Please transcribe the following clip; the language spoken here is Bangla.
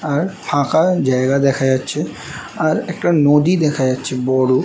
আর ফাঁকা জায়গা দেখা যাচ্ছে আর একটা নদি দেখা যাচ্ছে বোরো ।